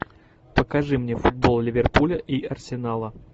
покажи мне футбол ливерпуля и арсенала